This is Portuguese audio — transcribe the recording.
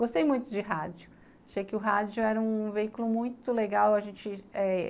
Gostei muito de rádio, achei que o rádio era um veículo muito legal. A gente é